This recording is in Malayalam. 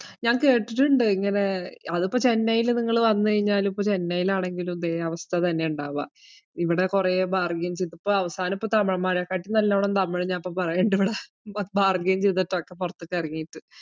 ഞാൻ കേട്ടിട്ടിണ്ട് ഇങ്ങനെ അതിപ്പോ ചെന്നൈയില് നിങ്ങള് വന്നുകഴിഞ്ഞാലും ഇപ്പൊ ചെന്നൈലാണെങ്കിലും ഇതേ അവസ്ഥ തന്നെ ഇണ്ടാവുക. ഇവിടെ കൊറേ bargain ചെയ്ത് ഇപ്പൊ അവസാനം ഇപ്പോ തമിഴൻമാരെക്കാട്ടീം നല്ലോണം തമിഴ് ഞാൻ ഇപ്പോ പറയുന്നുണ്ട്‌ ഇവിടെ bargain ചെയ്തിട്ടൊക്കെ പൊറത്തേക്ക് എറങ്ങീട്ട്.